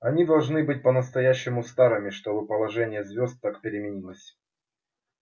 они должны быть по-настоящему старыми чтобы положение звёзд так переменилось